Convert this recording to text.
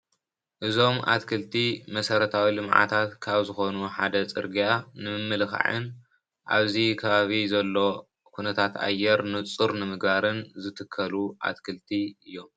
እዞም ኣትክልቲ መሰረታዊ ልምዓታት ካብ ዝኾኑ ሓደ ጽርግያ ንምምልካዕን ኣብዚ ከባቢ ዘሎ ኩነታት ኣየር ንጹር ንምግባርን ዝትከሉ ኣትክልቲ እዮም።